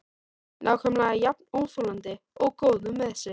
Nákvæmlega jafn óþolandi og góður með sig.